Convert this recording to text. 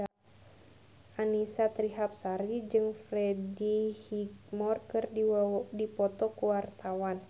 Annisa Trihapsari jeung Freddie Highmore keur dipoto ku wartawan